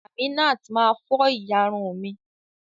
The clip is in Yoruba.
Aminat ma fọ ìyárún mi.